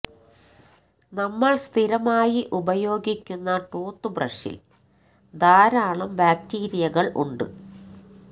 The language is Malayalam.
നമ്മള് സ്ഥിരമായി ഉപയോഗിക്കുന്ന ടൂത്ത് ബ്രഷില് ധാരാളം ബാക്ടീരിയകള് ഉണ്ട്